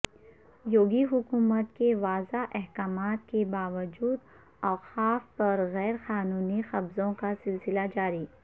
یوگی حکومت کے واضح احکامات کے با وجود اوقاف پرغیر قانونی قبضوں کا سلسلہ جاری